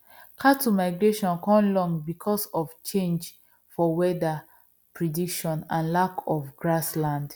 cattle migration con long because of change for weather prediction and lack of grass land